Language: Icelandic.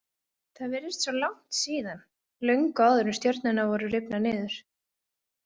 Það virðist svo langt síðan, löngu áður en stjörnurnar voru rifnar niður.